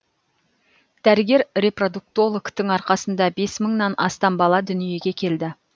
дәрігер репродуктологтың арқасында бес мыңнан астам бала дүниеге келді